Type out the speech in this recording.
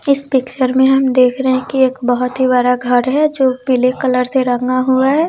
इस पिक्चर में हम देख रहे है की एक बहुत ही बड़ा घर है जो पीले कलर से रंगा हुआ है।